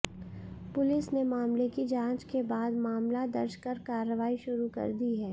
police ने मामले की जांच के बाद मामला दर्ज कर कार्रवाई शुरू कर दी है